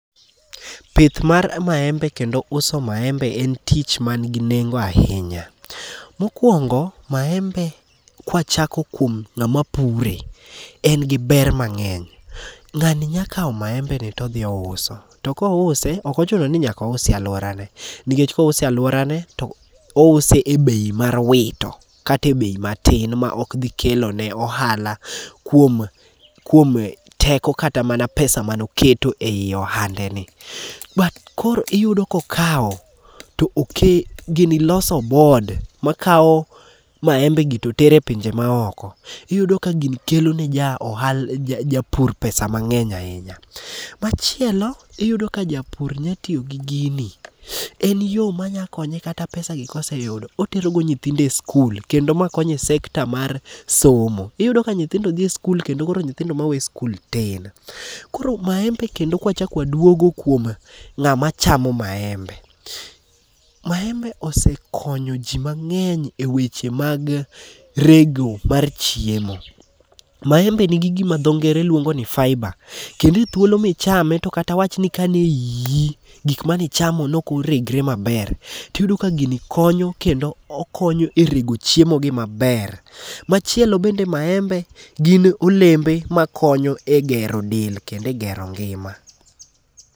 Pith mar maembe kendo uso maembe en tich manigi nengo ahinya. Mokwongo maembe, kwachako kuom ng'ama pure, en gi ber mang'eny. Ng'ani nya kawo maembeni todhi ouso. To kouse, ok ochuno ni nyaka ouse e alworane. Nikech kouse e alworane, to ouse e bei mar wito kata e bei matin ma okdhi kelone ohala kuom teko kata mana pesa manoketo ei ohande ,but iyudo kokawo, gini loso board makawo maembegi totero e pinje maoko. Iyudo ka gini kelo ne japur pesa mang'eny ahinya. Machielo, iyudo ka japur nyatiyo gi gini, en yo manya konye kata pesagi koseyudo, oterogo nyithindo e skul kendo ma konyo e sector mar somo. Iyudo ka nyithindo dhi e skul kendo koro nyithindo ma we skul tin. Koro maembe kendo kwachako kuom ng'ama chamo maembe, maembe osekonyo ji mang'eny e weche mag rego mar chiemo. Maembe nigi gima dho ngere luongo ni fibre kendo e thuolo michame to kata awach ni ka ne iyi, gik manichamo nokoregre maber, tiyudo ka gini konyo kendo okonyo e rego chiemogi maber. Machielo bende maembe gin olembe makonyo e gero del, kendo e gero ngima.